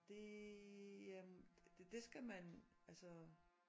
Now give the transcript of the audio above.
Det øhm det skal man altså